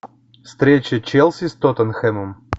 встреча челси с тоттенхэмом